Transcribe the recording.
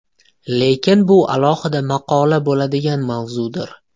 Lekin bu alohida maqola bo‘ladigan mavzudir.